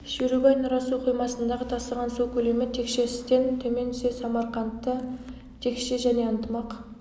шерубай нұра су қоймасындағы тасыған су көлемі текше с-тен төмен түссе самарқандта текше және ынтымақ